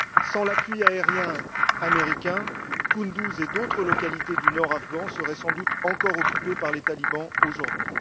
Sans l'appui aérien américain, Kunduz et d'autres localités du nord afghan seraient sans doute encore occupées par les talibans aujourd'hui.